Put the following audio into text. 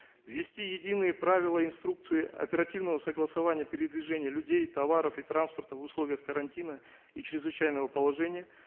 ввести единые правила инструкции оперативного согласования передвижения людей товаров и транспорта в условиях карантина и чрезвычайного положения